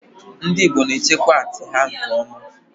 ndị Igbo na echekwa atii ha nke oma